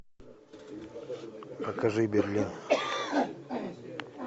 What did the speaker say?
покажи берлин